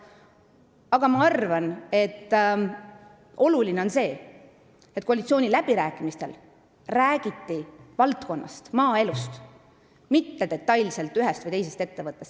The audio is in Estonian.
Aga ma arvan, et oluline on see, et koalitsiooniläbirääkimistel räägiti valdkonnast, maaelust, mitte detailselt ühest või teisest ettevõttest.